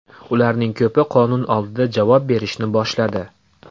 Ularning ko‘pi qonun oldida javob berishni boshladi.